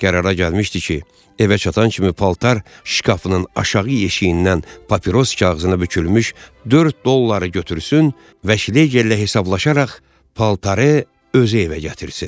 Qərara gəlmişdi ki, evə çatan kimi paltar şkafının aşağı yeşiyindən papiros kağızına bükülmüş dörd dolları götürsün, Vşlegerlə hesablaşaraq paltarı özü evə gətirsin.